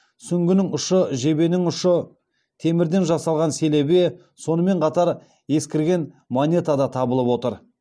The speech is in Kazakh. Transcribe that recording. сүңгінің ұшы жебенің ұшы темірден жасалған селебе сонымен қатар ескірген монета да табылып отыр